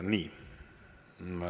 Nii.